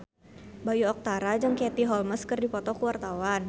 Bayu Octara jeung Katie Holmes keur dipoto ku wartawan